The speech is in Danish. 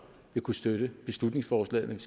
vil kunne støtte beslutningsforslaget